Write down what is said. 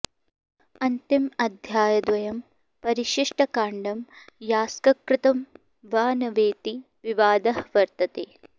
अन्तिम अध्यायद्वयं परिशिष्टकाण्डं यास्ककृतं वा न वेति विवादः वर्तते